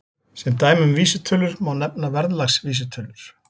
Sem dæmi um vísitölur má nefna verðlagsvísitölur.